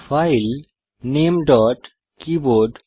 file ল্টনামেগ্ট